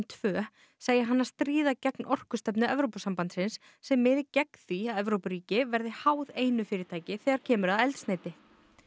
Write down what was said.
tveggja segja hana stríða gegn orkustefnu Evrópusambandsins sem miði gegn því að Evrópuríkin verði háð einu fyrirtæki þegar kemur að eldsneyti